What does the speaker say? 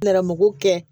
Nɛrɛmugugu kɛ